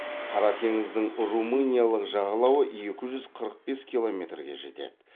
қара теңіздің румыниялық жағалауы екі жүз қырық бес километрге жетеді